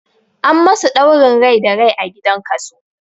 An masu ɗaurin rai da rai a gidan kaso